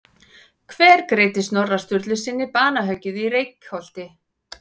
Hver greiddi Snorra Sturlusyni banahöggið í Reykholti?